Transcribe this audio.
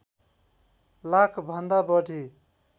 लाख भन्दा बढी